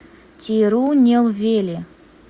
тирунелвели